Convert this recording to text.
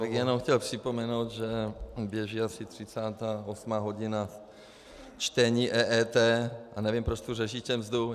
Já bych jenom chtěl připomenout, že běží asi 38. hodina čtení EET, a nevím, proč tu řešíte mzdu.